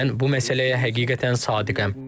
Və mən bu məsələyə həqiqətən sadiqəm.